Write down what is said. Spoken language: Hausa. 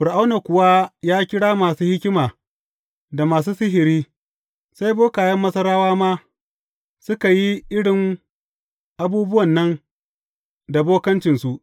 Fir’auna kuwa ya kira masu hikima da masu sihiri, sai bokayen Masarawa ma suka yi irin abubuwan nan da bokancinsu.